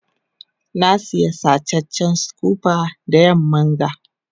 na Siya sacecen scooper da yamman ga.